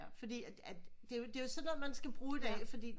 Fordi at at det er jo sådan noget man skal bruge i dag